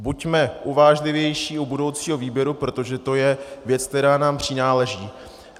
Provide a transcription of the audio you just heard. Buďme uvážlivější u budoucího výběru, protože to je věc, která nám přináleží.